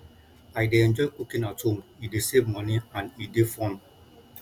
i dey enjoy cooking at home e dey save money and e dey fun